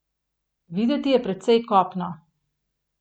Videti je precej kopno.